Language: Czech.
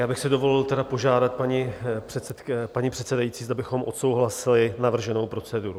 Já bych si dovolil tedy požádat, paní předsedající, zda bychom odsouhlasili navrženou proceduru.